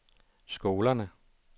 skolerne